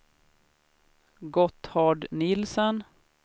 Gotthard Nielsen